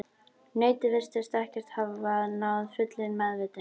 Nautið virtist ekki hafa náð fullri meðvitund.